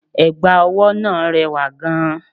Ẹ̀gbà ọwọ́ náà rẹwà gan-an